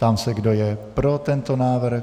Ptám se, kdo je pro tento návrh.